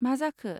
मा जाखो?